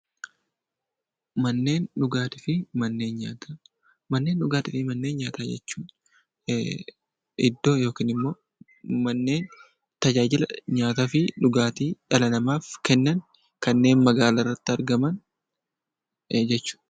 Manneen dhugaatii fi manneen nyaataa jechuun iddoo yookiin manneen tajaajila nyaataa fi dhugaatii dhala namaaf kennan kanneen magaalaarratti argaman jechuudha.